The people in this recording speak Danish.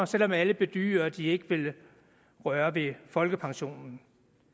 selv om alle bedyrer at de ikke vil røre ved folkepensionen